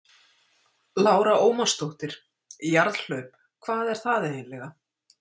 Lára Ómarsdóttir: Jarðhlaup, hvað er það eiginlega?